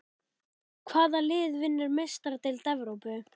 Hvað lið vinnur Meistaradeild Evrópu?